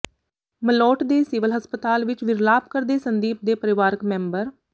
ਮਲੋਟ ਦੇ ਸਿਵਲ ਹਸਪਤਾਲ ਵਿੱਚ ਵਿਰਲਾਪ ਕਰਦੇ ਸੰਦੀਪ ਦੇ ਪਰਿਵਾਰਕ ਮੈਂਬਰ